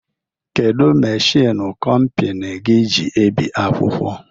Kedụ machiin kompani gị ji ebi akwụkwọ?